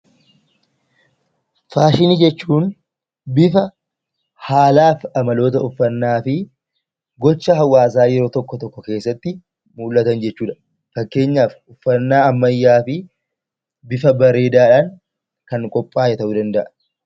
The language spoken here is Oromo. Faashiini jechuun bifa, haala fi amaloota uffanna fi gocha hawaasa yeroo tokko, tokko keessatti mul'atan jechudha. fakkeenyaf, uffanna ammayyaaf bifa bareedadhan kan qopha'e ta'u danda'a.